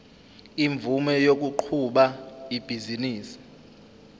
imvume yokuqhuba ibhizinisi